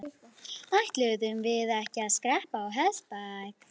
Ætluðum við ekki að skreppa á hestbak?